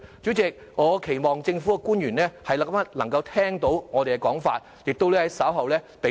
主席，我期望政府官員能夠聽到我們的意見，並在稍後給予積極的回應。